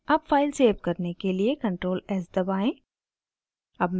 अब file save करने के लिए ctrl+s दबाएं